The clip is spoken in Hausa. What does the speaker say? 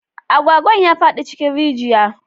Agwagwan ya faɗi cikin rijiya